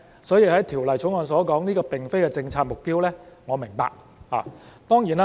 所以，《條例草案》所說，這並非政策的目標，我是明白的。